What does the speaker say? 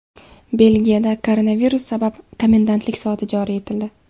Belgiyada koronavirus sabab komendantlik soati joriy etildi.